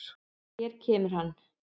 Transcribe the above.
Hér kemur hann.